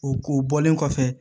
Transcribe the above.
O o bɔlen kɔfɛ